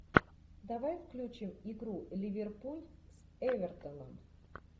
давай включим игру ливерпуль с эвертоном